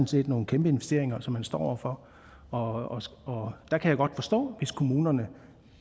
set nogle kæmpe investeringer som man står over for og der kan jeg godt forstå hvis kommunerne